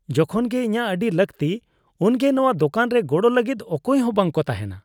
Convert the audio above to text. ᱡᱚᱠᱷᱚᱱ ᱜᱮ ᱤᱧᱟᱹᱜ ᱟᱹᱰᱤ ᱞᱟᱹᱠᱛᱤ ᱩᱱᱜᱮ ᱱᱚᱶᱟ ᱫᱳᱠᱟᱱ ᱨᱮ ᱜᱚᱲᱚ ᱞᱟᱹᱜᱤᱫ ᱚᱠᱚᱭ ᱦᱚᱸ ᱵᱟᱝᱠᱚ ᱛᱟᱦᱮᱱᱟ ᱾